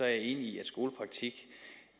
er enig i at skolepraktik